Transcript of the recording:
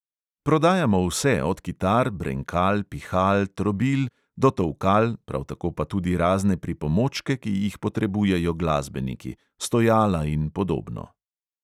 Prodajamo vse, od kitar, brenkal, pihal, trobil do tolkal, prav tako pa tudi razne pripomočke, ki jih potrebujejo glasbeniki – stojala in podobno.